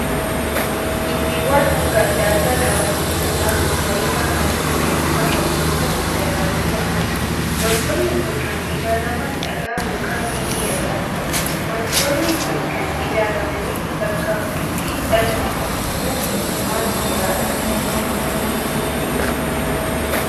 Gimbiiwwan hanga adda addaa qaban hedduun naannoo bareedaa halluu magariisaa qabu keessatti ijaaramanii argamu. Wantoonni kun kan ijaaraman dhagaa ykn biyyee irraati. Wantoonni kun kan ijaaramaniif bakka bultii dhala namaatii moo waan biraadha?